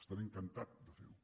estaré encantat de fer ho